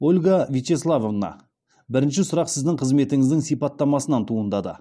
ольга вячеславовна бірінші сұрақ сіздің қызметіңіздің сипаттамасынан туындады